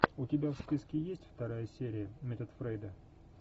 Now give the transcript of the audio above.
у тебя в списке есть вторая серия метод фрейда